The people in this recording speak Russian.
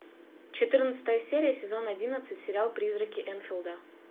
четырнадцатая серия сезон одиннадцать сериал призраки энфилда